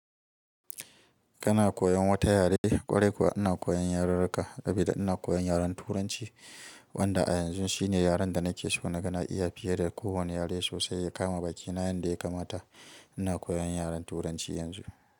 Kana koyan wata yare? Kwarai kuwa ina koyan yarenreka sabida ina koyan yaren turanci wanda a yanzu shine yaren da nake so na kana iya fiye da kowane yare sosai ya kama bakina yanda ya kamata. Ina koyan yaren turanci yanzu.